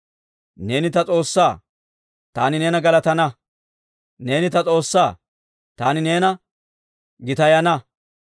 Neeni ta S'oossaa; taani neena galatana. Neeni ta S'oossaa; taani neena gitayana.